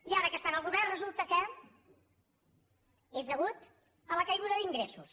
i ara que estan al govern resulta que és a causa de la caiguda d’ingressos